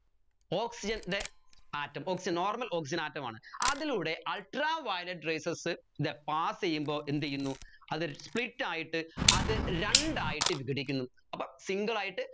oxygen ൻറെ atomoxygennormal oxygen atom ആണ് അതിലൂടെ ultaviolet rayses ന്റെ pass ചെയ്യുമ്പോൾ എന്തുചെയ്യുന്നു അതൊരു split ആയിട്ട് അത് രണ്ടായിട്ട് വിഘടിക്കുന്നു അപ്പോ single ആയിട്ട്